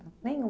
Nenhum